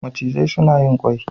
macizai suna yin ƙwai